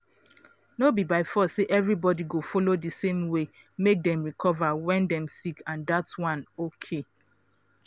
no be by force say everybody go follow di same way make dem recover when dem sick and dat one okay.